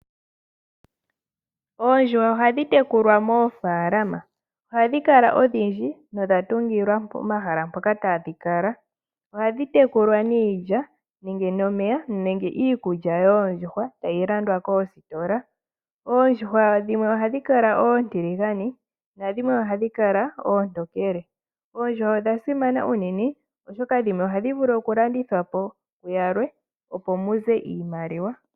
Oondjuhwa ohadhi tekulwa moofalama ohadhi kala odhindji nodha tungilwa omahala mpoka tadhi kala. Ohadhi tekulwa niilya, nomeya nenge niikulya yoondjuhwa tadhi landwa koositola. Oondjuhwa dhimwe ohadhi kala oontiligane nadhimwe ohadhi kala oontokele. Oondjuhwa odha simana uunene oshoka dhimwe ohadhi vulu oku landitha po kuyalwe opo muze oshimaliwa.